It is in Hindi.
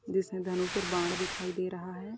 जिसमें धनुष और बाण दिखाई दे रहा है।